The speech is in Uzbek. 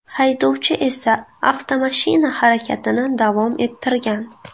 Haydovchi esa avtomashina harakatini davom ettirgan.